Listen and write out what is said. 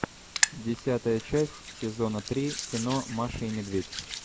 десятая часть сезона три кино маша и медведь